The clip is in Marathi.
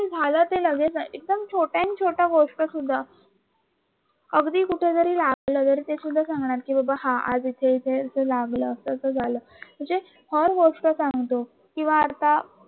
झाल ते लगेच आहे एकदम छोट्या छोट्या गोष्ट सुद्ध अगदी कुठे जरी जायचं झाल ते तरी सांगणार की बाबा हा आज इथे इथे लागलं अस अस झाल म्हणजे हर गोष्ट सांगतो किवा आता